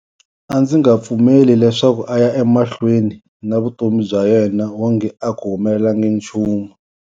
A ndzi nga pfumeli leswaku a ya emahlweni na vutomi bya yena wonge a ku humelelangi nchumu.